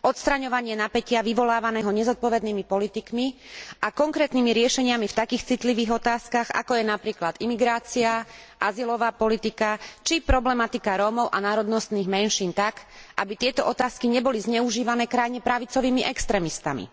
odstraňovanie napätia vyvolávaného nezodpovednými politikmi a konkrétnymi riešeniami v takých citlivých otázkach, ako je napríklad imigrácia, azylová politika, či problematika Rómov a národnostných menšín tak, aby tieto otázky neboli zneužívané krajne pravicovými extrémistami.